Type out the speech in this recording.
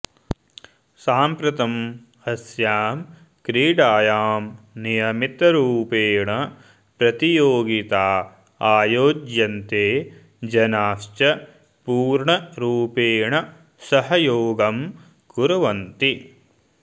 साम्प्रतमस्यां क्रीडायां नियमितरुपेण प्रतियोगिता आयोज्यन्ते जनाश्च पूर्णरुपेणा सहयोगं कुर्वन्ति